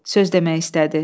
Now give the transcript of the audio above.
Söz demək istədi.